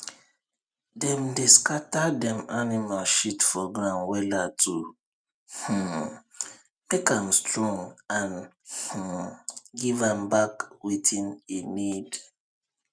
dem dey scatter dem animal shit for ground wella to um make am strong and um give am back wetin e need